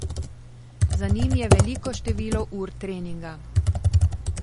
Za njim je veliko število ur treninga.